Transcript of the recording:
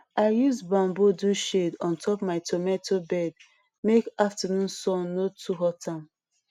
i use bamboo do shade on top my tomatoe bed make afternoon sun no too hot am